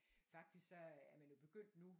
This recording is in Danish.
faktisk så øh er man jo begyndt nu